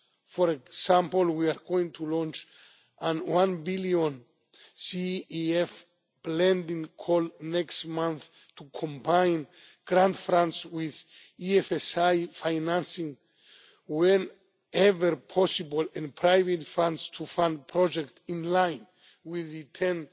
For example, we are going to launch a EUR one billion CEF Blending call next month to combine grant funds with EFSI financing whenever possible, and private funds to fund projects in line with